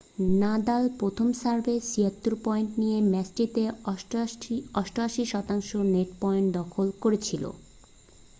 Nadal প্রথম সার্ভে 76 point নিয়ে ম্যাচটিতে 88% নেট পয়েন্ট দখল করেছিল